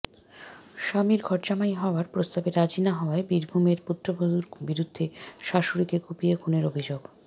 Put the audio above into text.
স্বামীর ঘরজামাই হওয়ার প্রস্তাবে রাজি না হওয়ায় বীরভূমে পুত্রবধূর বিরুদ্ধে শাশুড়িকে কুপিয়ে খুনের অভিযোগ